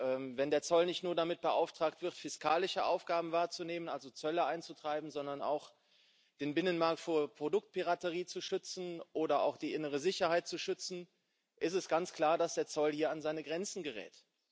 Und wenn der Zoll nicht nur damit beauftragt wird, fiskalische Aufgaben wahrzunehmen, also Zölle einzutreiben, sondern auch den Binnenmarkt vor Produktpiraterie zu schützen oder auch die innere Sicherheit zu schützen, ist es ganz klar, dass der Zoll hier an seine Grenzen gerät.